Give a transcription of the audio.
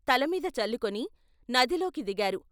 తలమీద చల్లుకుని నదిలోకి దిగారు.